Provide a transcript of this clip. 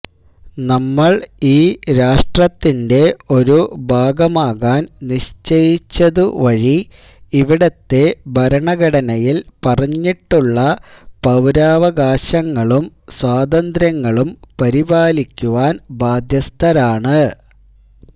നമ്മള് ഈ രാഷ്ട്രത്തിന്റെ ഒരു ഭാഗമാകാന് നിശ്ചയിച്ചതു വഴി ഇവിടത്തെ ഭരണഘടനയില് പറഞ്ഞിട്ടുള്ള പൌരാവകാശങ്ങളും സ്വാതന്ത്ര്യങ്ങളും പരിപാലിക്കുവാന് ബാധ്യസ്ഥരാണ്